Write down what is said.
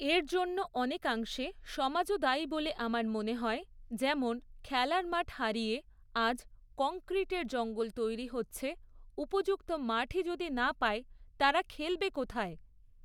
এর জন্য অনেকাংশে সমাজও দায়ী বলে আমার মনে হয় যেমন খেলার মাঠ হারিয়ে আজ কনক্রিটের জঙ্গল তৈরি হচ্ছে উপযুক্ত মাঠই যদি না পায় তারা খেলবে কোথায়?